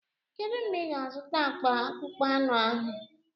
Kedu mgbe ị ga-azụta akpa akpụkpọ anụ ahụ?